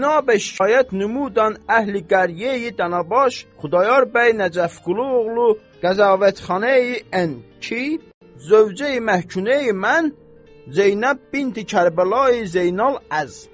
Binabe şikayət numudan əhli qəriyeyi Danabaş, Xudayar bəy Nəcəfquluoğlu, Qəzavətxaneyi Ən ki Zövcəyi Məhkümeyi mən Zeynəb binti Kərbəlayi Zeynal əz.